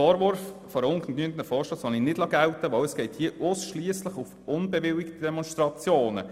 Den Vorwurf eines ungenügenden Vorstosses lasse ich nicht gelten, denn hier geht es ausschliesslich um unbewilligte Demonstrationen.